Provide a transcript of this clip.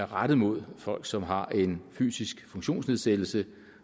rettet mod folk som har en fysisk funktionsnedsættelse